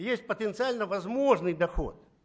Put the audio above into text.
есть потенциально возможный доход